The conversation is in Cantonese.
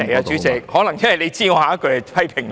主席，可能你知道我下一句會批評你。